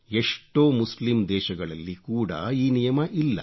ಎಷ್ಟೋ ಮುಸ್ಲಿಂ ದೇಶಗಳಲ್ಲಿ ಕೂಡ ಈ ನಿಯಮ ಇಲ್ಲ